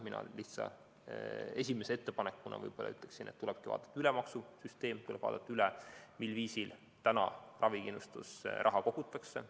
Mina esimese lihtsa ettepanekuna ütleksin, et tuleb vaadata üle maksusüsteem, tuleb vaadata üle, mil viisil ravikindlustusraha kogutakse.